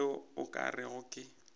tšeo o ka rego ke